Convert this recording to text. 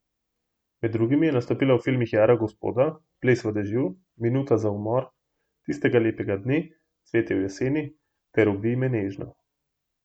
Med drugim je nastopila v filmih Jara gospoda, Ples v dežju, Minuta za umor, Tistega lepega dne, Cvetje v jeseni ter Ubij me nežno.